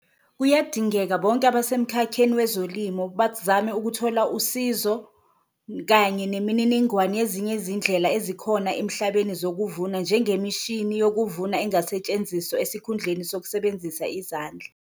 Kuyadingeka bonke abasemkhakheni wezolimo ukuthola usizo kanye nemininingwane yezinye izindlela ezikhona emhlabeni zokuvuna, njengemishini yokuvuna engasetshenziswa esikhundleni sokusebenzisa izandla.